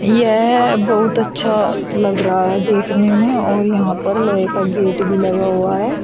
यह बहुत अच्छा लग रहा है देखने में और यहां पर लोहे का गेट भी लगा हुआ है।